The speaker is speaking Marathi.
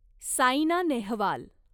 साईना नेहवाल